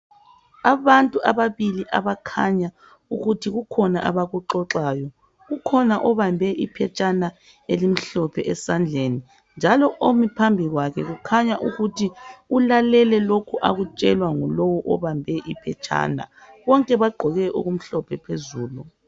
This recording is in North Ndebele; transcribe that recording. Abantu ababili abakhanya ukuthi kukhona abakuxoxayo. Kukhona obambe iphethsana elimhlophe esandleni, njalo omi phambi kwakhe kukhanya ukuthi ulalele lokhu akutshelwa ngulowo obambe iphetshana. Bonke bagqoke okumhlophe phezulu.